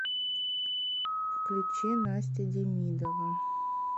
включи настя демидова